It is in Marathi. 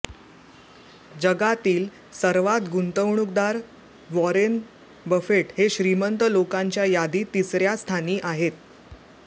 जगातील सर्वात गुंतवणूकदार वॉरेन बफेट हे श्रीमंत लोकांच्या यादीत तिसऱ्या स्थानी आहेत